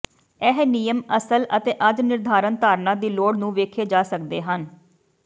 ਇਹ ਨਿਯਮ ਅਸਲ ਅਤੇ ਅੱਜ ਨਿਰਧਾਰਨ ਧਾਰਨਾ ਦੀ ਲੋੜ ਨੂੰ ਵੇਖੇ ਜਾ ਸਕਦੇ ਹਨ